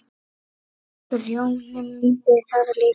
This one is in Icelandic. Grjóni mundi það líka.